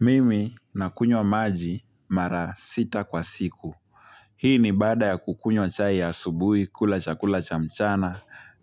Mimi nakunywa maji mara sita kwa siku. Hii ni baada ya kukunywa chai ya asubuhi, kula chakula cha mchana